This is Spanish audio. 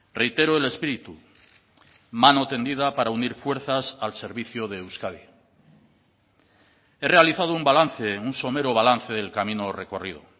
reitero el espíritu mano tendida para unir fuerzas al servicio de euskadi he realizado un balance un somero balance del camino recorrido